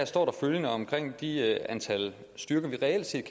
står følgende om det antal styrker vi reelt set